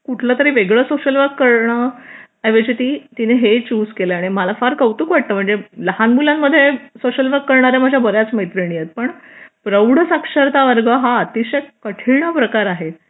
कुठलं तर वेगळं सोशल वर्क करणं या ऐवजी ती हेच केलं आणि मला फार कौतुक वाटतं म्हणजे लहान मुलांमध्ये सोशल वर करणाऱ्या माझ्या बऱ्याच मैत्रिणी आहेत पण प्रौढ साक्षरता वर्ग हा अतिशय कठीण प्रकार आहे